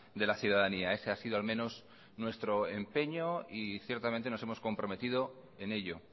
de la ciudadanía ese ha sido al menos nuestro empeño y ciertamente nos hemos comprometido en ello